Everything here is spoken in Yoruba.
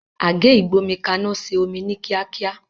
Àgé ìgbómikaná se omí ní kíákíá